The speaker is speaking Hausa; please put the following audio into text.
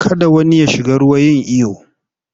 Kada wani ya shiga ruwa yin iyo!